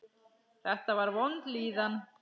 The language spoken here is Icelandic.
Þetta var vond líðan.